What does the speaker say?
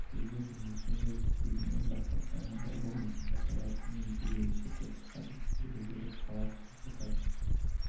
егер де мекен-жай тізбегінен басталса онда ол деп аталатын ерекше топтық адресті білдіріп класты жатады